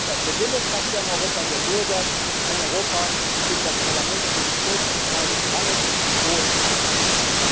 Wir wollen ein Europa der Demokratie, ein Europa der Bürger, ein Europa, in dem das Parlament für sich selbst entscheidet, wann es und wo es arbeitet!